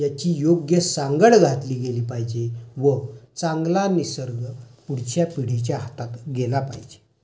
हा प्रगति आणि प्रदूषण याची योगी सांगड घातली गेली पाहिजे. व चांगला नियर्ग पुढच्या पिढीच्या हातात गेलं पाहिजे.